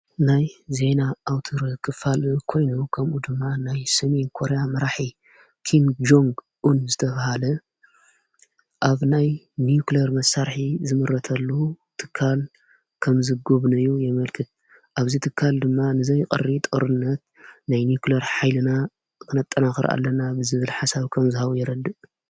ናይ ዘይና ኣውትር ኽፋልእ ኮይኑ ኸምኡ ድማ ናይ ሰሜን ኮርያ መራሒ ኪን ጀንግ ን ዝተብሃለ ኣብ ናይ ንክልር መሳርኂ ዝምረተሉ ትካል ከም ዝጐብነዩ የመልክድ ኣብዘ ትካል ድማ ንዘይቐሪ ጠርነት ናይ ንክልያር ኃይልና ኽነጠናኽር ኣለና ብዝብል ሓሳቦ ከም ዝሃቡ የረድእ።